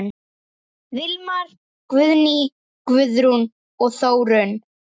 Vilmar, Guðný, Guðrún og Þórunn.